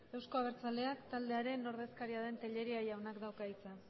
euzko abertzaleak taldearen ordezkaria den tellería jaunak dauka hitza